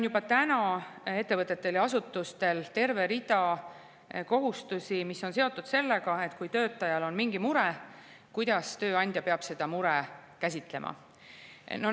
Juba praegu on meie ettevõtetel ja asutustel terve hulk kohustusi, mis on seotud sellega, et kui töötajal on mingi mure, siis peab tööandja seda muret.